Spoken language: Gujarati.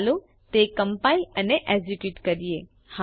ચાલો તે કમ્પાઇલ અને એકઝીક્યુટ કરીએ